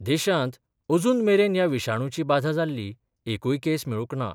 देशांत अजून मेरेन ह्या विशाणुची बाधा जाल्ली एकूय केस मेळूक ना.